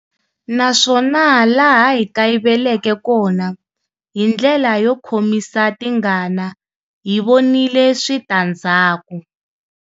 Naswona laha hi kayiveleke kona, hi ndlela yo khomisa tingana, hi vonile switandzhaku.